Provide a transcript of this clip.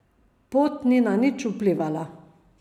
Pot ni na nič vplivala.